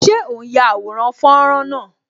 Ṣé o n ya àwòrán fọ́nrán náà?